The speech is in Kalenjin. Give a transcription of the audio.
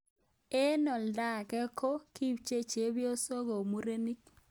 Eng olda age ko kitpche chebyosok kou murenik.